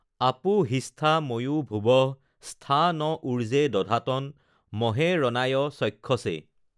আপো হিষ্ঠা ময়ো ভুৱঃ স্থা ন উৰ্জে দধাতন, মহে ৰণায় চক্ষসে,